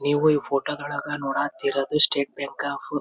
ನೀವು ಈ ಫೋಟೋಗಳನ್ನ ನೋಡುತ್ತಿರುವುದು ಸ್ಟೇಟ್ ಬ್ಯಾಂಕ್ ಆಫ್ --